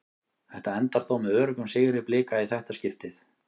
Þetta endar þó með öruggum sigri Blika í þetta skiptið.